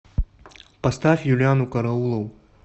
поставь юлианну караулову